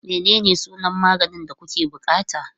Menene sunan maganin da kuke buƙata?